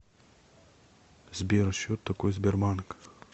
сбер счет такой сбербанк